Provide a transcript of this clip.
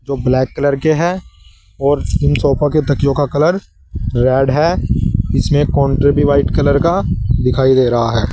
जो black colour के हैं और उन सोफा के तकियों का कलर रेड है इसमें काउंटर भी व्हाइट कलर का दिखाई दे रहा है।